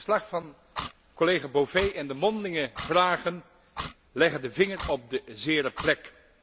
Het verslag van collega Bové en de mondelinge vragen leggen de vinger op de zere plek.